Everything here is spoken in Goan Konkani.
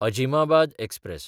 अजिमाबाद एक्सप्रॅस